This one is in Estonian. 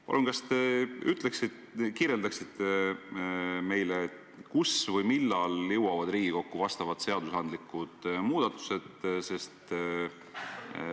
Palun, kas te ütleksite meile, millal jõuavad Riigikokku sellised seadusandlikud muudatused?